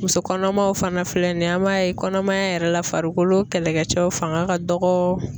Muso kɔnɔmaw fana filɛ nin ye an m'a ye kɔnɔmaya yɛrɛ la farikolo kɛlɛkɛcɛw fanga ka dɔgɔ.